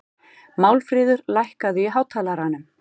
Marfríður, lækkaðu í hátalaranum.